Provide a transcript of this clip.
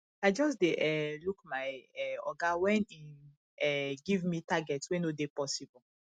i just dey um look my um oga wen im um give me target wey no dey possible